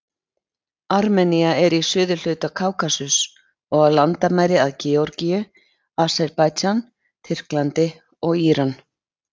Armenía er í suðurhluta Kákasus og á landamæri að Georgíu, Aserbaídsjan, Tyrklandi og Íran.